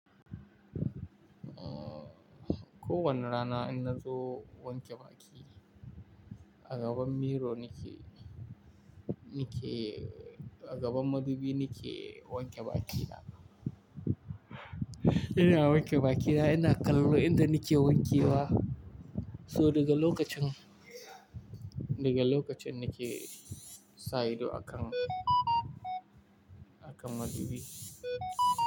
Aaa, ko wane rana in nazo wanke baki, a gaban miro nake, nake, a gaban madubi nake wanke bakina. Ina wanke bakina, ina kallo inda nake wankewa. So daga lokacin, daga lokacin nake sa ido akan, akan madubi.